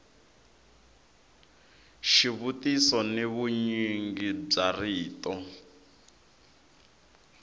xivutiso ni vunyingi bya rito